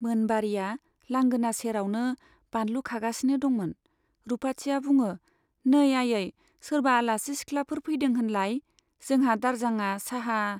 मोनबारीया लांगोना सेरावनो बानलु खागासिनो दंमोन। रुपाथिया बुङो , नै आयै , सोरबा आलासि सिखलाफोर फैदों होनलाय ? जोंहा दारजांआ चाहा